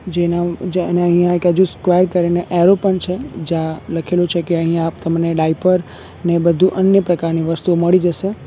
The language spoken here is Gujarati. જેના ઉ જ અને અહીંયા એક અજુ સ્ક્વેર કરીને એરો પણ છે જ્યાં લખેલું છે કે અહીંયા તમને ડાયપર ને બધું અન્ય પ્રકારની વસ્તુઓ મળી જસે.